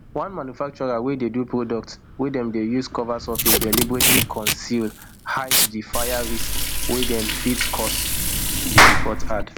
one manufacturer wey dey do products wey dem dey use cover surface deliberately conceal hide di fire risks wey dem fit cause di report add